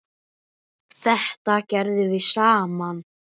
Þetta gerðum við saman.